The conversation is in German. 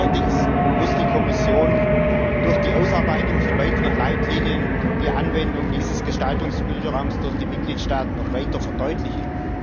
Allerdings muss die Kommission durch die Ausarbeitung von weiteren Leitlinien die Anwendung dieses Gestaltungsspielraums durch die Mitgliedstaaten noch weiter verdeutlichen.